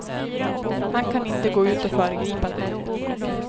Han kan inte gå ut och föregripa den.